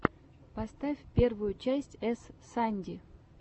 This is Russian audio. поставь первую часть эс санди